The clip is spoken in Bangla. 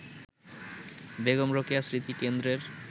বেগম রোকেয়া স্মৃতিকেন্দ্রের